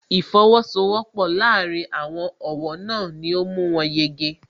Ìsowọ́pọ̀ láàárín àwọn ọ̀wọ́ náà ni ó mú wọn yege